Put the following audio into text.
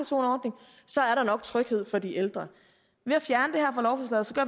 så så er der nok tryghed for de ældre